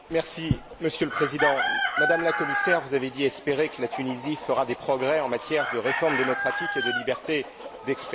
Monsieur le Président, Madame la Commissaire, vous avez dit espérer que la Tunisie ferait des progrès en matière de réformes démocratiques et de liberté d'expression.